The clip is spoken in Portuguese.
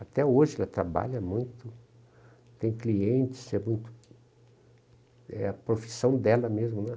Até hoje ela trabalha muito, tem clientes, é muito... É a profissão dela mesmo, né?